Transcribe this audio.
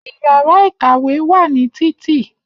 Iyàrá ìkàwé wà ní Títì